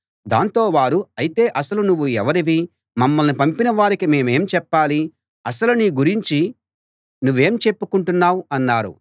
దాంతో వారు అయితే అసలు నువ్వు ఎవరివి మమ్మల్ని పంపిన వారికి మేమేం చెప్పాలి అసలు నీ గురించి నువ్వేం చెప్పుకుంటున్నావ్ అన్నారు